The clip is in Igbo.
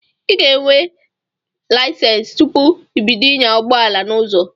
I ga enwe layisensi tụpụ ibido ịnya ụgbọala n'ụzọ